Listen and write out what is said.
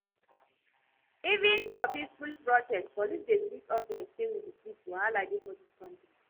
Even for peaceful protest police dey treat us like say we be thieves, wahala dey for dis country